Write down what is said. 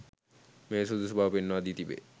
මෙය සුදුසු බව පෙන්වා දී තිබේ